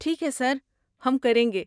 ٹھیک ہے سر، ہم کریں گے۔